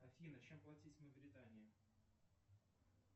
афина чем платить в мавритании